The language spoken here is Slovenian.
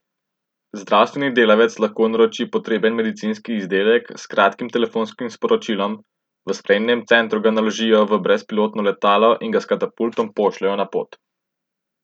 Zdravstveni delavec lahko naroči potreben medicinski izdelek s kratkim telefonskim sporočilom, v sprejemnem centru ga naložijo v brezpilotno letalo in ga s katapultom pošljejo na pot.